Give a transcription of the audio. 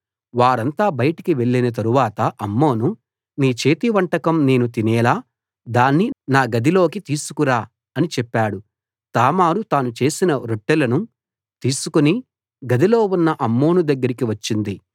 వారంతా బయటికి వెళ్ళిన తరువాత అమ్నోను నీ చేతి వంటకం నేను తినేలా దాన్ని నా గదిలోకి తీసుకురా అని చెప్పాడు తామారు తాను చేసిన రొట్టెలను తీసుకు గదిలో ఉన్న అమ్నోను దగ్గరికి వచ్చింది